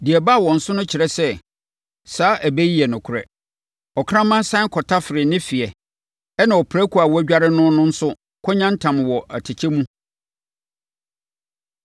Deɛ ɛbaa wɔn so no kyerɛ sɛ, saa ɛbɛ yi yɛ nokorɛ. “Ɔkraman sane kɔtafere ne fe ɛnna ɔprako a wɔadware no no nso kɔyantam wɔ atɛkyɛ mu.”